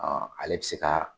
Ɔn ale bi se ka